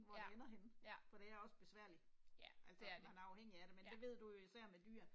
Ja, ja. Ja, det er det, ja